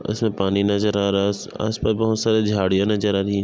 उसमे पानी नज़र आ रहा है आसपास बहुत सारी झाड़ियां नजर आ रही है।